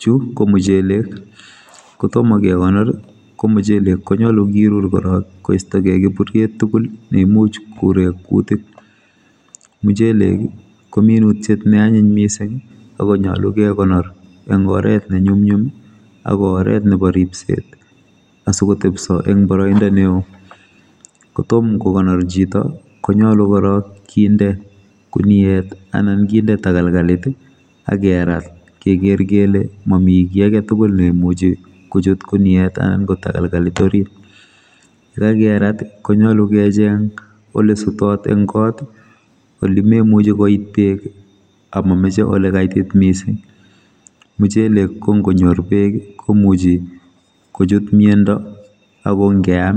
Chu komuchelek kotom kekonor ko muchelek konyalu kirur korok koistogei kiburiet tugul neimuch korek kutik muchelek ko minutiet neanyiny mising akonyolu ke konor eng oret ne nyumnyum ako oret nebo ripset asikotebso eng boroindo neo kotom kokonor chito konyolu korok kinde guniet anan kinde takalkalit akerat keker kele mami ki agetugul neimuchi kochut guniet ana ko takalkalit orit yekakerat konyolu kecheng ole dutot eng kot olememuchi koit bek amomoche ole kaitit mising muchelek kongonyor bek komuchi kochut miando akongeam